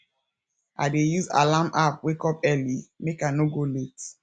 i dey use alarm app wake up early make i no go late